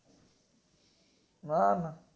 ના ના